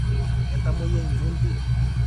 Ketomoyia lmpundi